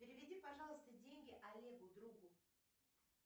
переведи пожалуйста деньги олегу другу